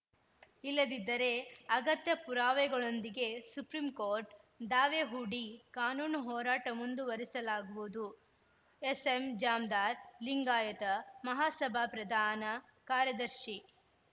ಇಲ್ಲದಿದ್ದರೆ ಅಗತ್ಯ ಪುರಾವೆಗಳೊಂದಿಗೆ ಸುಪ್ರೀಂಕೋರ್ಟ್‌ ದಾವೆ ಹೂಡಿ ಕಾನೂನು ಹೋರಾಟ ಮುಂದುವರಿಸಲಾಗುವುದು ಎಸ್‌ಎಂಜಾಮದಾರ್‌ ಲಿಂಗಾಯತ ಮಹಾಸಭಾ ಪ್ರಧಾನ ಕಾರ‍್ಯದರ್ಶಿ